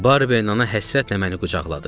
Barberin ana həsrətlə məni qucaqladı.